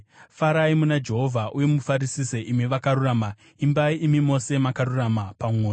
Farai muna Jehovha uye mufarisise, imi vakarurama; imbai, imi mose makarurama pamwoyo!